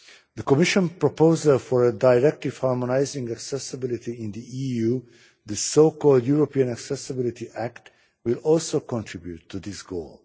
The Commission proposal for a directive harmonising accessibility in the EU the so called European accessibility Act will also contribute to this goal.